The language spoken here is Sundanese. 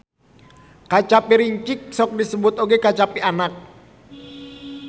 Kacapi rincik sok disebut oge kacapi anak.